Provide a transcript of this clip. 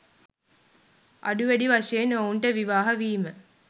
අඩු වැඩි වශයෙන් ඔවුන්ට විවාහ වීම